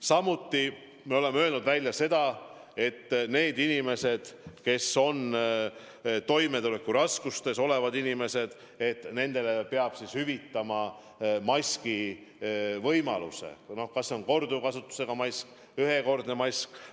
Samuti me oleme öelnud, et inimestele, kes on toimetulekuraskustes, peab maski hüvitama, on see siis korduvkasutusega mask või ühekordne mask.